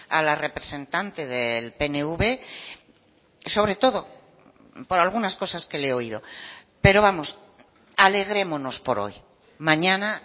a la representante del pnv sobre todo por algunas cosas que le he oído pero vamos alegrémonos por hoy mañana